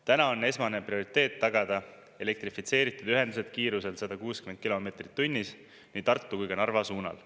Täna on esmane prioriteet tagada elektrifitseeritud ühendused kiirusel 160 kilomeetrit tunnis nii Tartu kui ka Narva suunal.